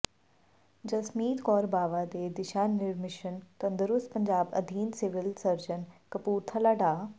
ਜਸਮੀਤ ਕੌਰ ਬਾਵਾ ਦੇ ਦਿਸ਼ਾ ਨਿਰਮਿਸ਼ਨ ਤੰਦਰੁਸਤ ਪੰਜਾਬ ਅਧੀਨ ਸਿਵਲ ਸਰਜਨ ਕਪੂਰਥਲਾ ਡਾ